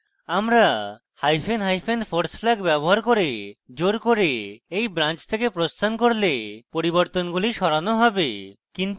আমরা hyphen hyphen force flag ব্যবহার করে জোর করে এই branch থেকে প্রস্থান করলে পরিবর্তনগুলি সরানো হবে